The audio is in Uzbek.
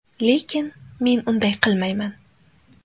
Lekin, men unday qilmayman.